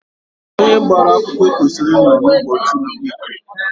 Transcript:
Onye gbara akwụkwọ kwesịrị inọ ụbọchị ikpe.